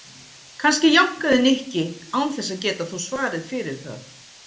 Kannski jánkaði Nikki án þess að geta þó svarið fyrir það.